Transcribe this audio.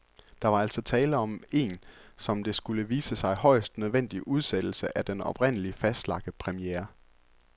Der var altså tale om en, som det skulle vise sig, højst nødvendig udsættelse af den oprindeligt fastlagte premiere.